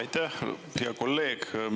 Aitäh, hea kolleeg!